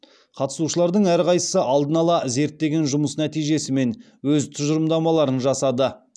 қатысушылардың әрқайсы алдын ала зерттеген жұмыс нәтижесімен өз тұжырымдамаларын жасады